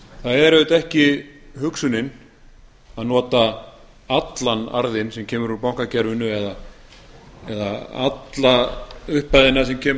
það er auðvitað ekki hugsunin að nota allan arðinn sem kemur úr bankakerfinu eða alla upphæðina sem kemur